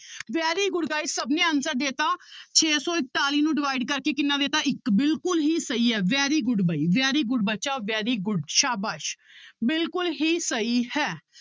very good guys ਸਭ ਨੇ answer ਦੇ ਦਿੱਤਾ ਛੇ ਸੌ ਇਕਤਾਲੀ ਨੂੰ divide ਕਰਕੇ ਕਿੰਨਾ ਦੇ ਦਿੱਤਾ ਇੱਕ ਬਿਲਕੁਲ ਹੀ ਸਹੀ ਹੈ very good ਬਾਈ very good ਬੱਚਾ very good ਸਾਬਾਸ਼ ਬਿਲਕੁਲ ਹੀ ਸਹੀ ਹੈ l